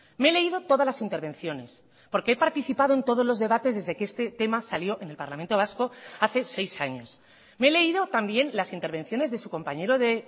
me he leído todas las intervenciones porque he participado en todos los debates desde que este tema salió en el parlamento vasco hace seis años me he leído también las intervenciones de su compañero de